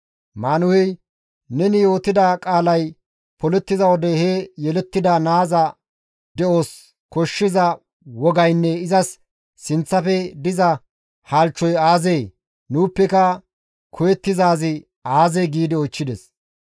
Maanuhey, «Neni yootida qaalay polettiza wode he yelettida naaza de7os koshshiza wogaynne izas sinththafe diza halchchoy aazee? Nuuppeka koyettizaazi aazee?» giidi oychchides.